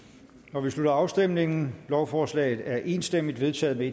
nu vi slutter afstemningen lovforslaget er enstemmigt vedtaget med